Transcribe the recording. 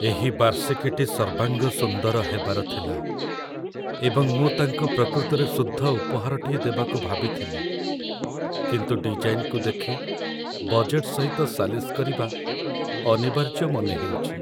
ଏହି ବାର୍ଷିକୀଟି ସର୍ବାଙ୍ଗ ସୁନ୍ଦର ହେବାର ଥିଲା, ଏବଂ ମୁଁ ତାଙ୍କୁ ପ୍ରକୃତରେ ଶୁଦ୍ଧ ଉପହାରଟିଏ ଦେବାକୁ ଭାବିଥିଲି। କିନ୍ତୁ ଡିଜାଇନ୍‌କୁ ଦେଖି ବଜେଟ୍‌‌‌ ସହିତ ସାଲିସ କରିବା ଅନିବାର୍ଯ୍ୟ ମନେ ହେଉଛି।